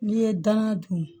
N'i ye dangan dun